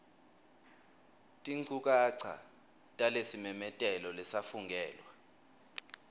tinchukaca talesimemetelo lesafungelwa